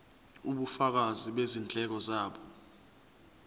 ubufakazi bezindleko zabo